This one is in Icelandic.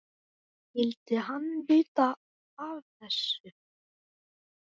Skyldi hann vita af þessu?